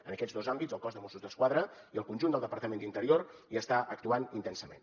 en aquests dos àmbits el cos de mossos d’esquadra i el conjunt del departament d’interior hi estan actuant intensament